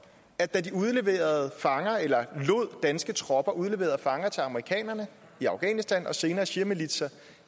at da man udleverede fanger eller lod danske tropper udlevere fanger til amerikanerne i afghanistan og senere shiamilitser